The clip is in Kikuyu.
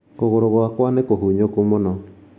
Kugũrũ gwakwa nĩ kũhunyũku mũno